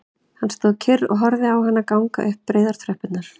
Hann stóð kyrr og horfði á hana ganga upp breiðar tröppurnar